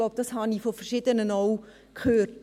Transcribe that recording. Ich glaube, dies habe ich auch von Verschiedenen gehört.